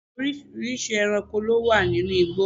oríṣiríṣi ẹranko ló wà ninú igbó